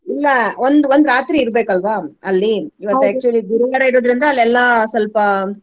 ಇಲ್ಲಾ ಒಂದ್ ಒಂದ್ ರಾತ್ರಿ ಇರ್ಬೆಕ್ ಅಲ್ವಾ ಅಲ್ಲಿ actually ಗುರುವಾರ ಇರೋದ್ರಿಂದ ಅಲ್ಲಿ ಎಲ್ಲಾ ಸ್ವಲ್ಪಾ.